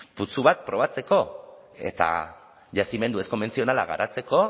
putzu bat probatzeko eta yazimendu ez konbentzionala garatzeko